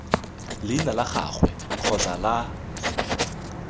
leina la gagwe kgotsa la